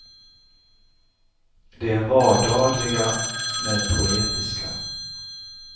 De är vardagliga, men poetiska.